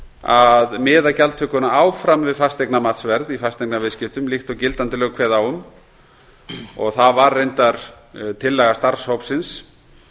að miða gjaldtökuna áfram við fasteignamatsverð í fasteignaviðskiptum líkt og gildandi lög kveða á um það var reyndar tillaga starfshópsins